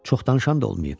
Çox danışan da olmayıb.